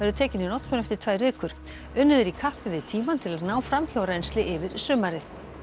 tekin í notkun eftir tvær vikur unnið er í kappi við tímann til að ná framhjárennsli yfir sumarið